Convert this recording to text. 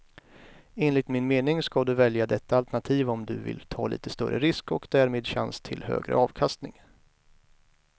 Enligt min mening ska du välja detta alternativ om du vill ta lite större risk och därmed chans till högre avkastning.